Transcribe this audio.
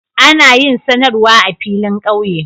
Ana yin sanarwa a filin ƙauye.